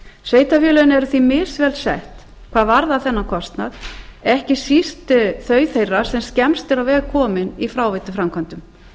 sveitarfélögin eru því misvel sett hvað varðar þennan kostnað ekki síst þau þeirra sem skemmst eru á veg komin í fráveituframkvæmdum